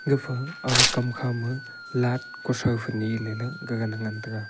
gafa aga kam khama light kothai phai nyeley ley gagan ngan taga.